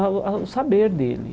ao ao saber dele.